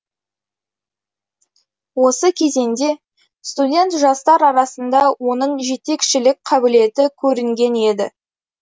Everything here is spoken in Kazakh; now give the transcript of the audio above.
осы кезеңде студент жастар арасында оның жетекшілік қабілеті көрінген еді